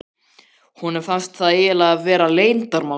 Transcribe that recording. Honum fannst það eiginlega vera leyndarmál.